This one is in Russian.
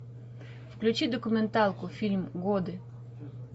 включи документалку фильм годы